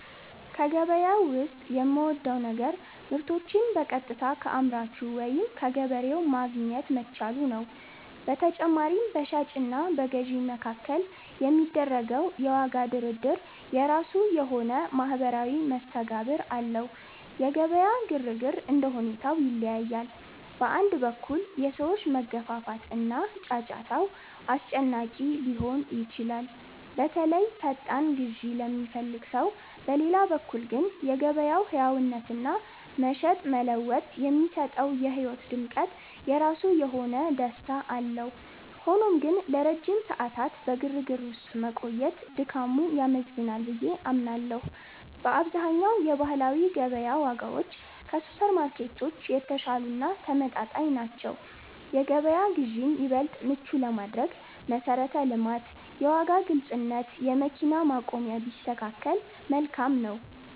ከገበያ ዉስጥ የምወደው ነገር ምርቶችን በቀጥታ ከአምራቹ ወይም ከገበሬው ማግኘት መቻሉ ነው። በተጨማሪም፣ በሻጭ እና በገዥ መካከል የሚደረገው የዋጋ ድርድር የራሱ የሆነ ማኅበራዊ መስተጋብር አለው። የገበያ ግርግር እንደ ሁኔታው ይለያያል። በአንድ በኩል፣ የሰዎች መገፋፋት እና ጫጫታው አስጨናቂ ሊሆን ይችላል፤ በተለይ ፈጣን ግዢ ለሚፈልግ ሰው። በሌላ በኩል ግን፣ የገበያው ሕያውነትና "መሸጥ መለወጥ" የሚሰጠው የሕይወት ድምቀት የራሱ የሆነ ደስታ አለው። ሆኖም ግን፣ ለረጅም ሰዓታት በግርግር ውስጥ መቆየት ድካሙ ያመዝናል ብዬ አምናለሁ። በአብዛኛው የባህላዊ ገበያ ዋጋዎች ከሱፐርማርኬቶች የተሻሉ እና ተመጣጣኝ ናቸው። የገበያ ግዢን ይበልጥ ምቹ ለማድረግ መሠረተ ልማት፣ የዋጋ ግልጽነት፣ የመኪና ማቆሚያ ቢስተካከከል መልካም ነው።